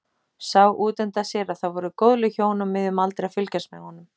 Sá útundan sér að það voru góðleg hjón á miðjum aldri að fylgjast með honum.